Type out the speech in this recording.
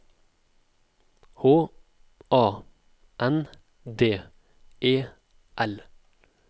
H A N D E L